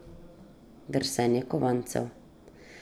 Drsenje kovancev.